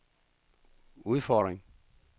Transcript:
udfordring